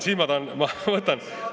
Siis ma pean ...